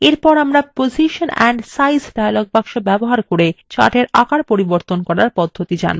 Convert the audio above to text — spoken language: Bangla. এরপর আমরা position and size dialog box ব্যবহার করে chartsএর আকার পরিবর্তন করার পদ্ধতি জানবো